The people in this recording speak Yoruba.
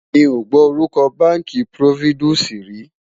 mí ọ gbó orúko bánkì providusi rí